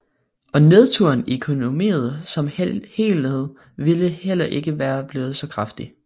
Og nedturen i økonomien som helhed ville heller ikke være blevet så kraftig